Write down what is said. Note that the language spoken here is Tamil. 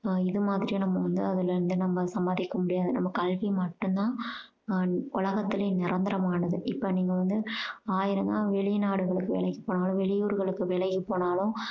ஆஹ் இது மாதிரி நம்ம வந்து அதுல சம்பாதிக்க முடியாது. நம்ம கல்வி மட்டும் தான் உம் உலகத்திலயே நிரந்தரமானது. இப்போ நீங்க வந்து ஆயிரம் தான் வெளிநாடுகளுக்கு வேலைக்கு போனாலும் வெளியூருகளுக்கு வேலைக்கு போனாலும்